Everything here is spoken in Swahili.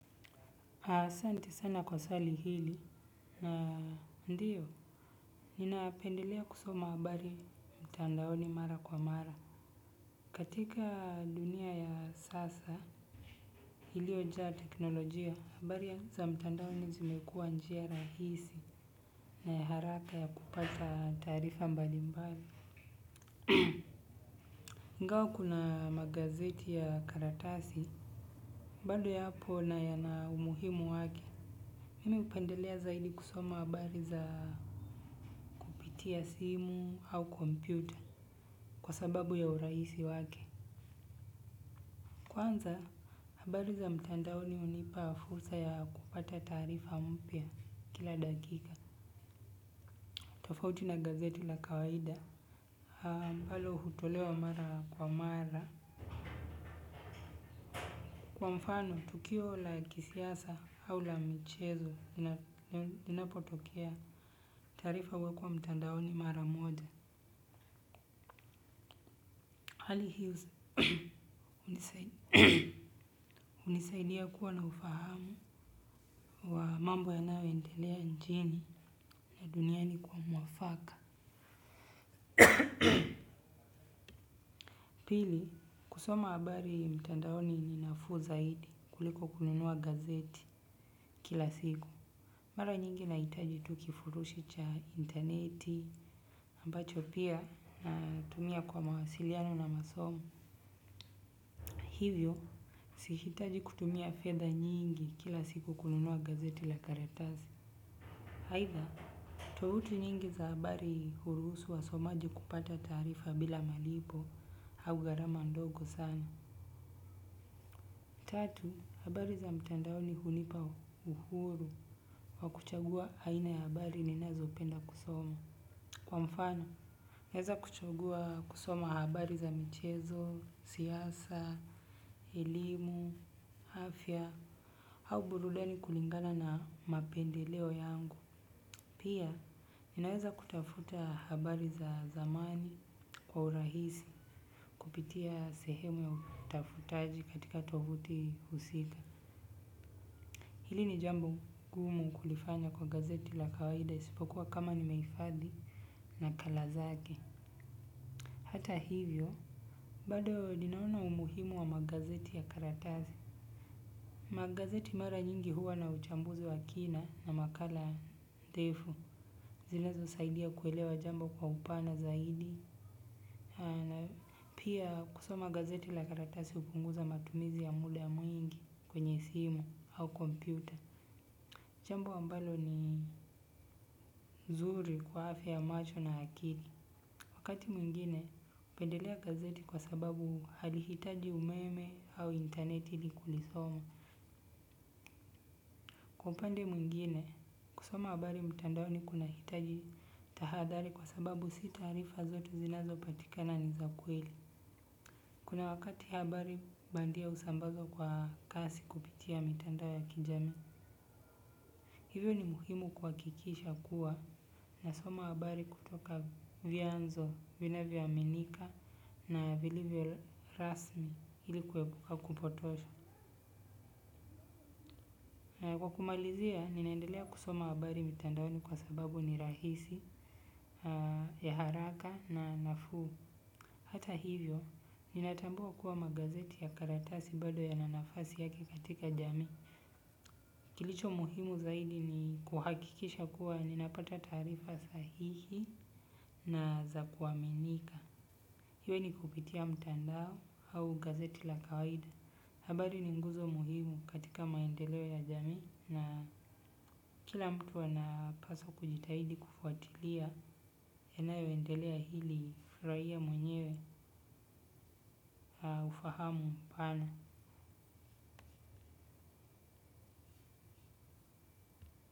Asante sana kwa swali hili na ndiyo, ninapendelea kusoma abari mtandaoni mara kwa mara. Katika dunia ya sasa, iliojaa teknolojia, abari za mtandaoni zimekua njia rahisi na ya haraka ya kupata tarifa mbali mbali. Ingawa kuna magazeti ya karatasi, bado yapo na yana umuhimu wake. Mimi upendelea zaidi kusoma habari za kupitia simu au kompyuta kwa sababu ya uraisi wake. Kwanza, habari za mtandaoni unipa fursa ya kupata tarifa mpya kila dakika. Tofauti na gazeti la kawaida, hambalo hutolewa mara kwa mara. Kwa mfano, tukio la kisiasa au la michezo, inapotokea tarifa wako wa mtandaoni mara moja. Hali hiyo, unisaidia kuwa na ufahamu wa mambo yanayoendelea inchini ya duniani kwa mwafaka. Pili, kusoma abari mtandaoni ni nafuu zaidi kuliko kununua gazeti kila siku. Mara nyingi nahitaji tu kifurushi cha intaneti, ambacho pia natumia kwa mawasiliano na masomo. Hivyo, sihitaji kutumia fedha nyingi kila siku kununua gazeti la karatasi. Haitha, tovuti nyingi za habari huruhusu wasomaji kupata tarifa bila malipo au gharama ndogo sana. Tatu, habari za mtandaoni hunipa uhuru wa kuchagua aina ya habari ninazo penda kusoma. Kwa mfano, naeza kuchagua kusoma habari za michezo, siyasa, elimu, afya, au burudani kulingana na mapendeleo yangu. Pia, ninaweza kutafuta habari za zamani kwa urahisi, kupitia sehemu ya utafutaji katika tovuti husika. Hili ni jambo gumu kulifanya kwa gazeti la kawaida isipokuwa kama nimeifadhi nakala zake. Hata hivyo, bado ninaona umuhimu wa magazeti ya karatazi. Magazeti mara nyingi huwa na uchambuzi wa kina na makala ndefu. Zinazosaidia kuelewa jambo kwa upana zaidi. Pia kusoma gazeti la karatasi hupunguza matumizi ya muda mwingi kwenye simu au kompyuta. Jambo ambalo ni zuri kwa afya ya macho na akiri. Wakati mwingine upendelea gazeti kwa sababu halihitaji umeme au intaneti ili kulisoma. Kwa mpande mwingine, kusoma habari mtandaoni kunahitaji tahadhari kwa sababu si tarifa zote zinazopatikana ni za kweli. Kuna wakati habari bandia usambazwa kwa kasi kupitia mitandao ya kijamii. Hivyo ni muhimu kuakikisha kuwa nasoma habari kutoka vyanzo, vinavyo amenika na vilivyo rasmi ili kuepuka kupotosha. Na kwa kumalizia, ninaendelea kusoma habari mtandaoni kwa sababu ni rahisi ya haraka na nafuu. Hata hivyo, ninatambua kuwa magazeti ya karatasi bado yana nafasi yake katika jamii. Kilicho muhimu zaidi ni kuhakikisha kuwa ninapata tarifa sahihi, na za kuaminika hiwe ni kupitia mtandao au gazeti la kawaida. Habari ni nguzo muhimu katika maendeleo ya jamii na kila mtu anapaswa kujitahidi kufuatilia yanayoendelea hili furaia mwenyewe ufahamu mpana.